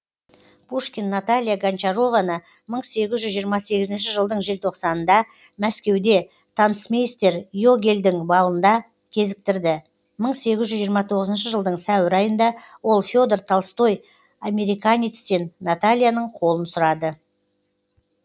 пушкин наталья гончарованы мың сегіз жүз жиырма сегізінші жылдың желтоқсанында мәскеуде танцмейстер йогельдің балында кезіктірді мың сегіз жүз жиырма тоғызыншы жылдың сәуір айында ол федор толстой американецтен натальяның қолын сұрады